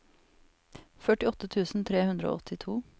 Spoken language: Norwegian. førtiåtte tusen tre hundre og åttito